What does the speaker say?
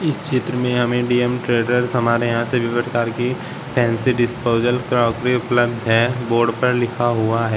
इस चित्र में हमे इंडियन ट्रेडर्स हमारे यहां से विविधकार की फैंसी डिस्पोजल क्रोकरी उपलब्ध है। बोर्ड पर लिखा हुआ है।